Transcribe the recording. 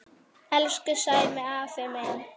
Elsku Sæmi afi minn.